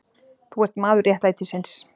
Þú ert maður réttlætisins.